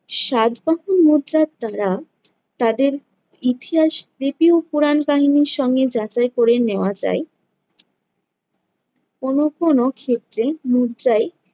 সাতবাহন মুদ্রার দ্বারা তাদের ইতিহাস রীতি ও পুরাণ কাহিনীর সঙ্গে যাচাই করে নেওয়া যায়। কোনো কোনো ক্ষেত্রে মুদ্রাই